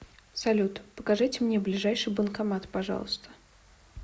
салют покажите мне ближайший банкомат пожалуйста